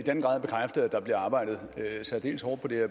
der bliver arbejdet særdeles hårdt på det